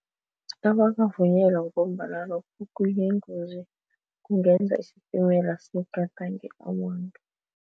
Abakavunyelwa ngombana ingozi kungenza isitimela sigadange abantu.